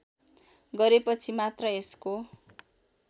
गरेपछि मात्र यसको